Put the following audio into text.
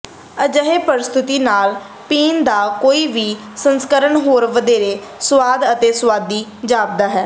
ਅਜਿਹੇ ਪ੍ਰਸਤੁਤੀ ਨਾਲ ਪੀਣ ਦਾ ਕੋਈ ਵੀ ਸੰਸਕਰਣ ਹੋਰ ਵਧੇਰੇ ਸੁਆਦ ਅਤੇ ਸੁਆਦੀ ਜਾਪਦਾ ਹੈ